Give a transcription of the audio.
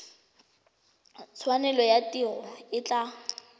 tshwanelo ya tiro e tla